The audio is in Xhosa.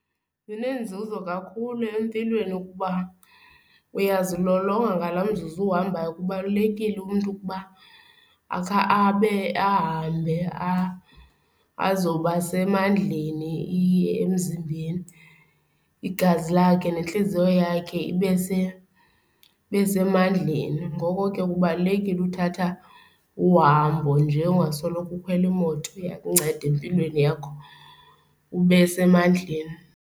Sinenzuzo kakhulu empilweni ukuba uyazilolonga ngala mzuzu uhambayo. Kubalulekile umntu ukuba akha abe ahambe azoba semandleni, iye emzimbeni. Igazi lakhe nentliziyo yakhe ibe semandleni. Ngoko ke kubalulekile uthatha uhambo nje ungasoloko ukhwela imoto. Iyakunceda empilweni yakho ube semandleni.